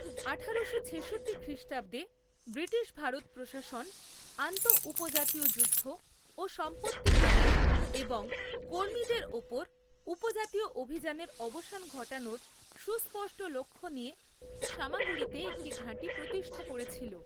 আঠারোশো ছেষট্টি খ্রিষ্টাব্দে, ব্রিটিশ ভারত প্রশাসন আন্তঃউপজাতীয় যুদ্ধ ও সম্পত্তি আদায় এবং কর্মীদের ওপর উপজাতীয় অভিযানের অবসান ঘটানোর সুস্পষ্ট লক্ষ্য নিয়ে সামাগুড়িতে একটি ঘাঁটি প্রতিষ্ঠা করেছিল।